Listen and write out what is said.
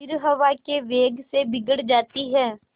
फिर हवा के वेग से बिगड़ जाती हैं